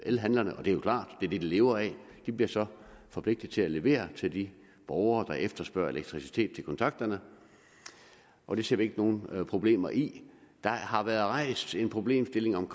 elhandlerne og det er jo klart det det de lever af de bliver så forpligtet til at levere til de borgere der efterspørger elektricitet til kontakterne og det ser vi ikke nogen problemer i der har været rejst en problemstilling om